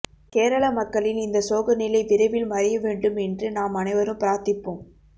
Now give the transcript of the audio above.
கேரள மக்களின் இந்த சோக நிலை விரைவில் மறைய வேண்டும் என்று நாம் அனைவரும் பிராத்திப்போம்